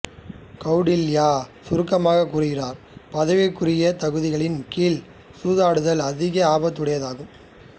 கௌடில்யர் சுருக்கமாகக் கூறுகிறார் பதவிக்குரிய தகுதிகளின் கீழ் சூதாடுதல் அதிக ஆபத்துடையதாகும்